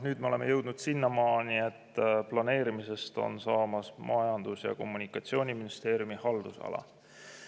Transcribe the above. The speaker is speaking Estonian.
Nüüd me oleme jõudnud sinnamaani, et planeerimisest on saamas Majandus- ja Kommunikatsiooniministeeriumi haldusala.